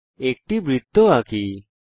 একটি বৃত্ত আঁকা যাক